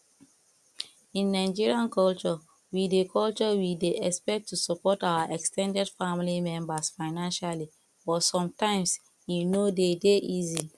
in nigeria culture we dey culture we dey expect to support our ex ten ded family members financially but sometimes e no dey dey easy